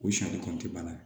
O kɔnte bana